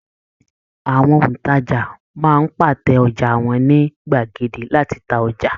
Àwọn òntajà máa ń pàtẹ ọjà wọn ní gbàgede láti ta ọjà